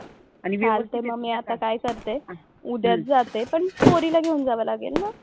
चालतंय मग मी आता काय करते उद्याच जाते. पण पोरीला घेऊन जावं लागेल ना?